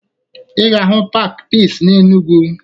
Ị ga-ahụ paakị Piisi n'Enugwu